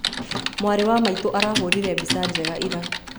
Mwarĩ wa maitũ arahũrire mbica njega ira